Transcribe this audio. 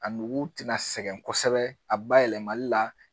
A nugu tɛna sɛgɛn kosɛbɛ a bayɛlɛmali la